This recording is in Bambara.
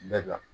Bɛɛ dan